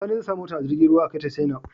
Sani zai sa motar a jirgin ruwan a kai ta china